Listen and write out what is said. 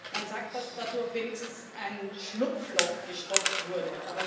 Man sagt, dass dadurch wenigstens ein Schlupfloch gestopft wurde.